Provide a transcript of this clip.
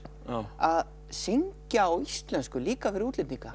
að syngja á íslensku líka fyrir útlendinga